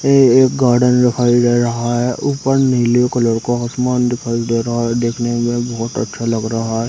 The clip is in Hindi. ये एक गार्डन दिखाई दे रहा है ऊपर नीले कलर का आसमान दिखाई दे रहा है देखने में बोहत अच्छा लग रहा हैं ।